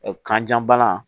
Kanja bana